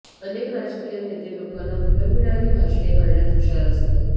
अनेक राजकीय नेते लोकांना भुलविणारी भाषणे करण्यात हुशार असतात